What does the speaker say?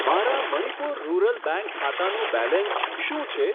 મારા Manipur rural bank ખાતાનું balance શું છે?